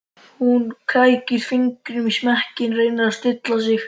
Hún krækir fingrum í smekkinn, reynir að stilla sig.